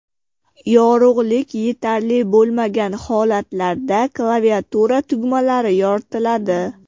Yorug‘lik yetarli bo‘lmagan holatlarda klaviatura tugmalari yoritiladi.